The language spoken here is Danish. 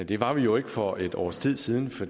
det var vi jo ikke for et års tid siden for